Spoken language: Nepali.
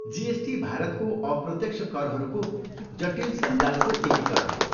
जिएसटी भारतको अप्रत्यक्ष करहरूको जटिल सञ्जालको एकीकरण हो।